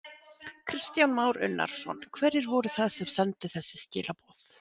Kristján Már Unnarsson: Hverjir voru það sem sendu þessi skilaboð?